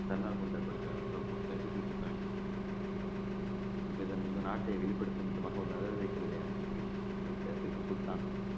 தன்னார்வ கூட்டமைப்பின் நாட்டை வெளிப்படுத்தும் விதமாக அனுப்பி வைத்த திப்பு சுல்தான்